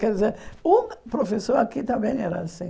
Quer dizer, um professor aqui também era assim.